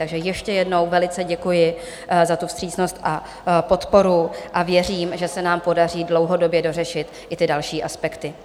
Takže ještě jednou velice děkuji za tu vstřícnost a podporu a věřím, že se nám podaří dlouhodobě dořešit i ty další aspekty.